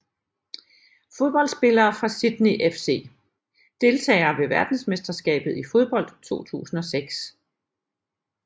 Fodboldspillere fra Sydney FC Deltagere ved verdensmesterskabet i fodbold 2006